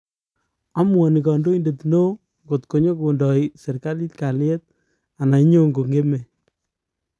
Amuani kandoindet neoo kotko nyikondai serikalit kaliet anan nyikongemei